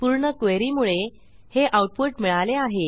पूर्णqueryमुळे हे आऊटपुट मिळाले आहे